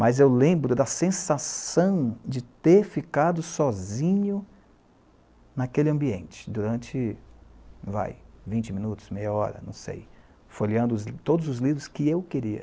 Mas eu lembro da sensação de ter ficado sozinho naquele ambiente durante, vai, vinte minutos, meia hora, não sei, folheando todos os livros que eu queria.